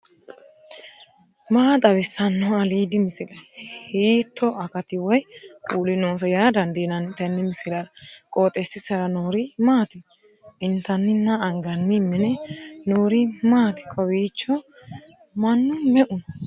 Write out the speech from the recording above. maa xawissanno aliidi misile ? hiitto akati woy kuuli noose yaa dandiinanni tenne misilera? qooxeessisera noori maati ? intannina anganni mine noori maati kowiicho mannu me'u no